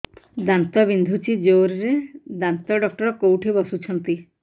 ଦାନ୍ତ ବିନ୍ଧୁଛି ଜୋରରେ ଦାନ୍ତ ଡକ୍ଟର କୋଉଠି ବସୁଛନ୍ତି